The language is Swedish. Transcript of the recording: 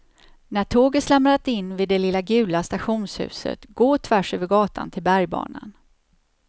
När tåget slamrat in vid det lilla gula stationshuset, gå tvärs över gatan till bergbanan.